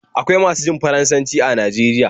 Akwai masu jin Faransanci are Najeriya